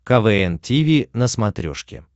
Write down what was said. квн тиви на смотрешке